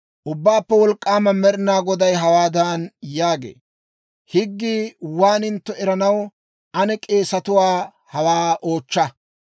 «Ubbaappe Wolk'k'aama Med'inaa Goday hawaadan yaagee; ‹Higgii waagintto eranaw ane k'eesetuwaa hawaa oochcha: